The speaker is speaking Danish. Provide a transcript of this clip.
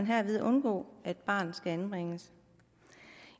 herved undgå at barnet skal anbringes